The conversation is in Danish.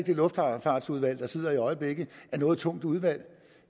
det luftfartsudvalg der sidder i øjeblikket er noget tungt udvalg